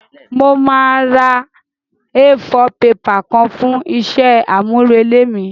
Mo máa ra A4 paper kan fún isé àmúrelé mí